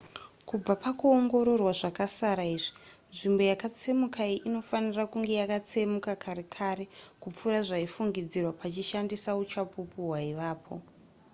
kubva pakuongororwa zvakasara izvi nzvimbo yakatsemuka iyi inofanira kunge yakatsemuka kare kare kupfuura zvaifungidzirwa pachishandiswa uchapupu hwaivapo